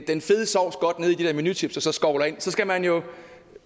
den fede sovs godt nede i de der chips og så skovler ind så skal man jo